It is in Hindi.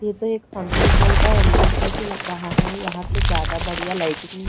ये तो एक फंक्शन हॉल का एंट्रेंस जैसी लग रहा हैं यहाँ तो ज्यादा बढ़िया लाइटिंग --